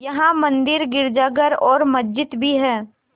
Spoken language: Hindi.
यहाँ मंदिर गिरजाघर और मस्जिद भी हैं